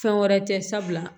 Fɛn wɛrɛ tɛ sabula